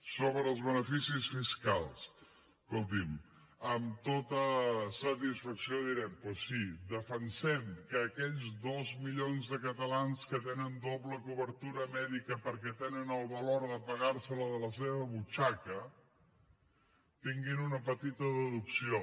sobre els beneficis fiscals escolti’m amb tota satisfacció direm doncs sí defensem que aquells dos milions de catalans que tenen doble cobertura mèdica perquè tenen el valor de pagar se la de la seva butxaca tinguin una petita deducció